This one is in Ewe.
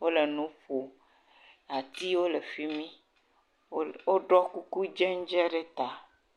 wole nu ƒom. Atiwo le fimi. Woɖɔ kuku dzɛdzɛ ɖe ta.